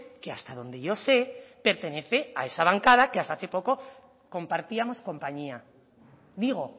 que hasta donde yo sé pertenece a esa bancada que hasta hace poco compartíamos compañía digo